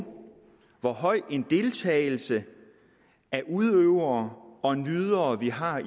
hvor høj en deltagelse af udøvere og nydere vi har